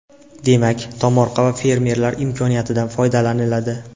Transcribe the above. Demak, tomorqa va fermerlar imkoniyatidan foydalaniladi.